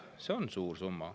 Jah, see on suur summa.